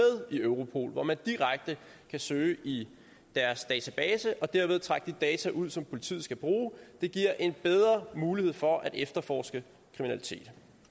i europol hvor man direkte kan søge i deres database og derved trække de data ud som politiet skal bruge det giver en bedre mulighed for at efterforske kriminalitet